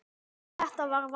En þetta er val.